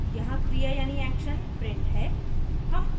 यहाँ क्रिया यानी action print है